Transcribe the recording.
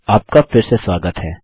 आपका फिर से स्वागत है